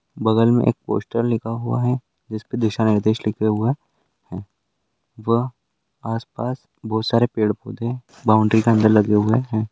बगल में एक पोस्टर लिखा हुआ है जिस पे दिशा निर्देश लिखे हुए है व् आस पास बहुत सारे पेड़ पौधे बॉउंड्री के अंदर लगे हुए है।